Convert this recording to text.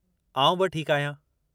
आउं बि ठीकु आहियां।